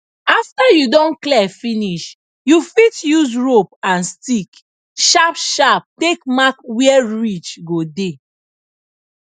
after you don clear finish you fit use rope and stick sharp sharp take mark where ridge go dey